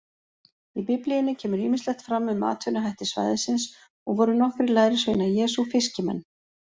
Í Biblíunni kemur ýmislegt fram um atvinnuhætti svæðisins og voru nokkrir lærisveina Jesú fiskimenn.